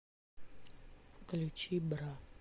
включи бра